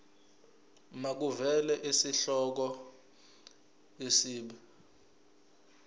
makuvele isihloko isib